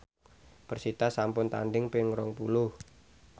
persita sampun tandhing ping rong puluh